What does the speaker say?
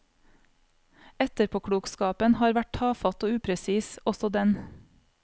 Etterpåklokskapen har vært tafatt og upresis, også den.